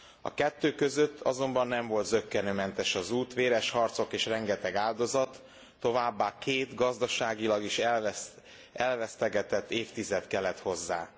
A kettő között azonban nem volt zökkenőmentes az út, véres harcok és rengeteg áldozat, továbbá két, gazdaságilag is elvesztegetett évtized kellett hozzá.